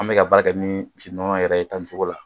An bɛ ka baara kɛ ni misi nɔnɔ yɛrɛ ye tan nin cogo la